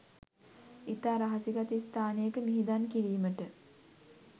ඉතා රහසිගත ස්ථානයක මිහිදන් කිරීමට